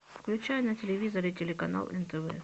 включай на телевизоре телеканал нтв